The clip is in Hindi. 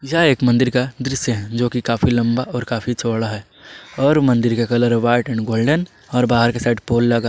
यह एक मंदिर का दृश्य है जोकि काफी लंबा और काफी चौड़ा है और मंदिर का कलर व्हाइट गोल्डन और बाहर की साइड पोल --